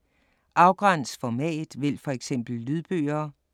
Afgræns format: vælg for eksempel lydbøger